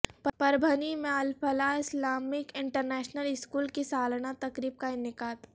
پربھنی میں Alfalah Islamic international school کی سالانہ تقریب کا انعقاد